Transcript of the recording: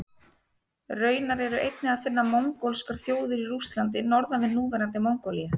Raunar er einnig að finna mongólskar þjóðir í Rússlandi norðan við núverandi Mongólíu.